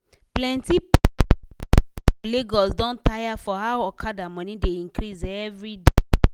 plenti people um for lagos don tire for how okada money dey increase everyday.